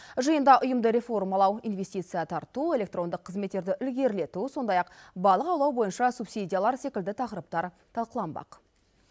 жиында ұйымды реформалау инвестиция тарту электрондық қызметтерді ілгерілету сондай ақ балық аулау бойынша субсидиялар секілді тақырыптар талқыланбақ